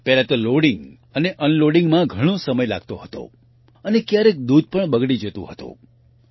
પહેલા તો લોડિંગ અને unloadingમાં ઘણો સમય લાગતો હતો અને ક્યારેક દૂધ પણ બગડી જતું હતું